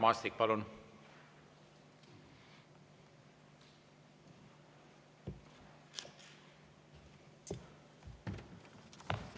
Mart Maastik, palun!